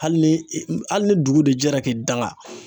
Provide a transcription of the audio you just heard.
Hali ni hali ni dugu de jɛra k'i danga